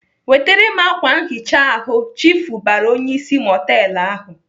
"Wetere m ákwà nhicha ahụ!" Chiifu bara onyeisi mọtelụ ahụ.